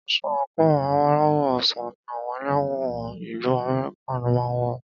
Aṣọ àńkò aláwọ̀ ọsàn ní àwọn ẹlẹ́wọ̀n ìlu Amẹ́ríkà máà ń wọ